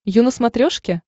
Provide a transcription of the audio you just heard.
ю на смотрешке